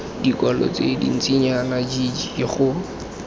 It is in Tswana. dikwalo tse dintsinyana jljl go